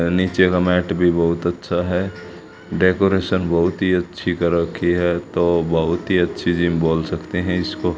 नीचे का मैट भी बहुत अच्छा है डेकोरेशन बहुत ही अच्छी कर रखी है तो बहुत ही अच्छी जिम बोल सकते हैं इसको।